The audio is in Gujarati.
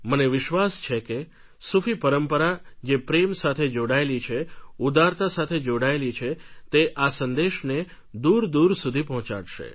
મને વિશ્વાસ છે કે સૂફી પરંપરા જે પ્રેમ સાથે જોડાયેલી છે ઉદારતા સાથે જોડાયેલી છે તે આ સંદેશને દૂર દૂર સુધી પહોંચાડશે